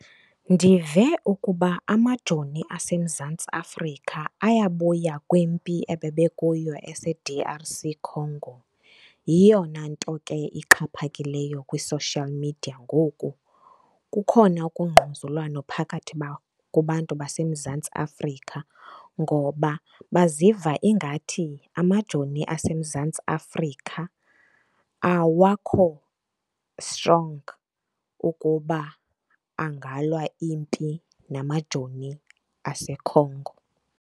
Ndive ukuba amajoni aseMzantsi Afrika ayabuya kwimpi ebebekuyo ese-D_R_C Congo. Yiyona nto ke ixhaphakileyo kwi-social media ngoku. Kukhona ukungquzulwano phakathi kubantu baseMzantsi Afrika ngoba baziva ingathi amajoni aseMzantsi Afrika awakho strong ukuba angalwa impi namajoni aseCongo.